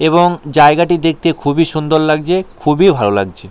এবং জায়গাটি দেখতে খুবই সুন্দর লাগছে খুবই ভালো লাগছে ।